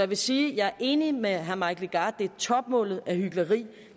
vil sige at jeg er enig med herre mike legarth det er topmålet af hykleri